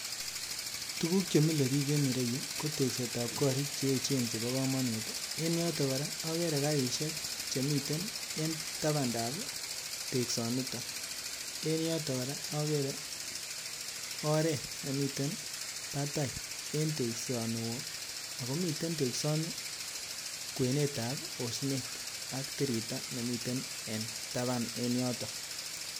Tuguk chemile biik en ireyu ko teksetab korik che echen chepo komonut en yoton kora akere karisiek chemiten en tapandab teksonitok en yoton kora akere oret nemiten batai en teksoni woo akomiten teksoni kwenetab osnet ak tiriyta nemiten taban en yoton